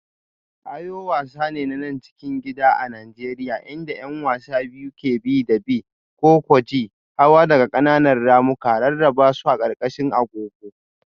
Ayo wasa ne na cikin gida a Najeriya inda 'yan wasa biyu ke bi da bi. -ko-ko-ji-huwa daga ƙananan ramuka, rarraba su a ƙarƙashin agogo.